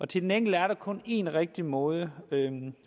til den enkelte er der kun én rigtig måde